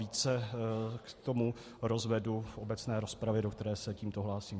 Více k tomu rozvedu v obecné rozpravě, do které se tímto hlásím.